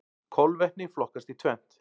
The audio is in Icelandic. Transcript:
Kolvetni flokkast í tvennt.